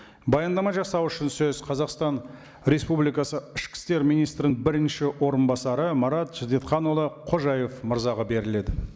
баяндама жасау үшін сөз қазақстан республикасы ішкі істер министрінің бірінші орынбасары марат шәдетханұлы қожаев мырзаға беріледі